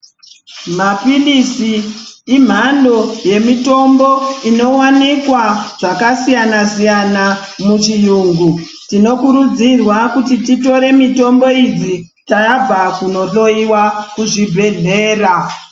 Mapiritsi imhando yemitombo inowanikwa zvakasiyana siyana muchiyungu tinokurudzirwa kuti titore mutombo idzi tabva kunohloiwa kuzvibhedhlera.